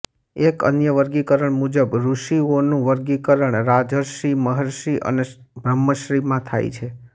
એક અન્ય વર્ગીકરણ મુજબ ઋષિઓનું વર્ગીકરણ રાજર્ષિ મહર્ષિ અને બ્રહ્મર્ષિ માં થાય છે